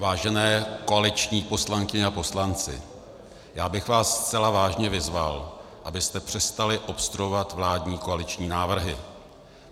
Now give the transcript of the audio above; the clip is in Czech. Vážené koaliční poslankyně a poslanci, já bych vás zcela vážně vyzval, abyste přestali obstruovat vládní koaliční návrhy.